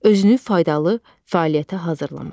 Özünü faydalı fəaliyyətə hazırlamaq.